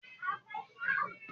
ṣe dáadáa sí “ awọn tó kù díẹ̀ fún ”!